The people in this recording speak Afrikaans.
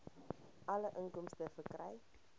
alle inkomste verkry